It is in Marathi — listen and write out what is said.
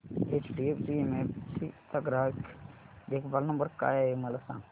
एचडीएफसी एएमसी चा ग्राहक देखभाल नंबर काय आहे मला सांग